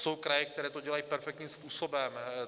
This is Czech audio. Jsou kraje, které to dělají perfektním způsobem.